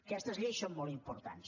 aquestes lleis són molt importants